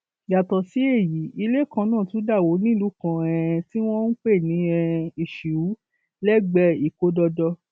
yàtọ sí èyí ilé kan náà tún dà wó nílùú kan tí um wọn ń pè ní um iṣíù lẹgbẹẹ ìkódọdọ